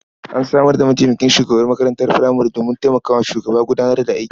An samar da mataimakin shugaban makarantar furamare domin taimaka wa shugaba gudanar da aiki.